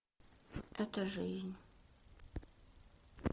это жизнь